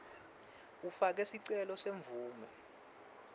ufake sicelo semvumo